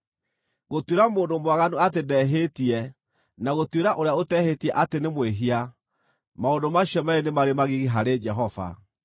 Gũtuĩra mũndũ mwaganu atĩ ndehĩtie na gũtuĩra ũrĩa ũtehĩtie atĩ nĩ mwĩhia, maũndũ macio meerĩ nĩ marĩ magigi harĩ Jehova.